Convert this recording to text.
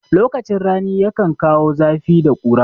Lokacin rani yakan kawo zafi da ƙura.